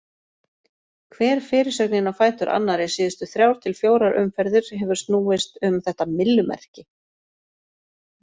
Hver fyrirsögnin á fætur annarri síðustu þrjár til fjórar umferðir hefur snúist um þetta myllumerki.